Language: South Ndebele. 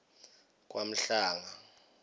kwamhlanga